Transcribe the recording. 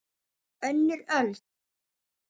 Önnur öld.